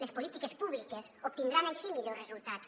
les polítiques públiques obtindran així millors resultats